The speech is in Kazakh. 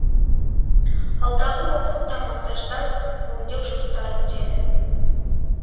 алдағы уақытта монтаждау өңдеу жұмыстары өтеді